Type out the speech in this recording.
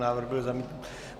Návrh byl zamítnut.